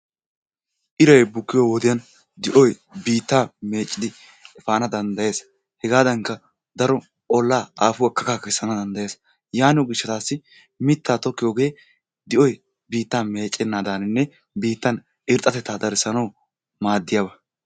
Iray bukkiyo wodiyaan di'yo biittaa meeccidi efana danddayees. Hegaadankka daro ollaa aafuwaa kakaa kessana danddayees. Yaaniyo gishshatassi mittaa tokkiyogee di'oy biittaa meeccenadaninne biittan irxxatetta darissanaw maadiyaaba.